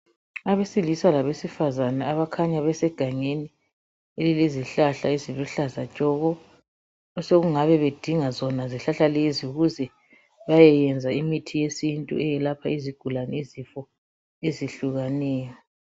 Abesilisa labesifazane abakhanya besegangeni elilezihlahla eziluhlaza tshoko, osokungabe bedinga zona izihlahla lezo bayeyenza imithi yesintu eyelapha izigulane yezifo ezehlukaneyo.